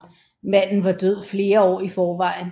Manden var død flere år i forvejen